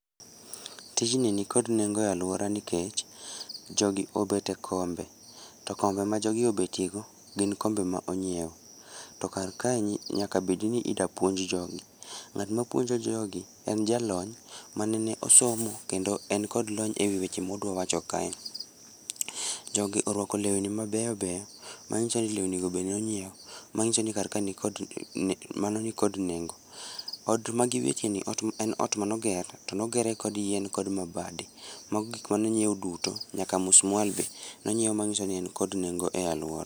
Tijni nikod nengo e aluora nikech jogi obet e kombe to kombe ma jogi obetie go gin kombe ma onyiew. To kar kae nyaka bedni idwa puonj jogi ,tng'atma puonjo jogi en jalony ma nene osomo kendo en kod lony e weche modwa wacho kae. Jogi orwako lewni mabeyo beyo manyiso ni lewni go nonyiew manyiso nikar kae, mano nikod nengo. Ot magibetie ni ,ot, en ot mane oger, tone oger kod yien kod mabade, mago gik mane onyiew duto nyaka musmwal be nonyiew manyiso ni en kod nengo e aluora